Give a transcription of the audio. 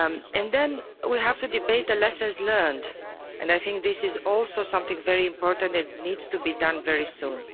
And then we have to debate the lessons learned and I think this is also something very important that needs to be done very soon.